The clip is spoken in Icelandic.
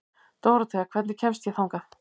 Dórothea, hvernig kemst ég þangað?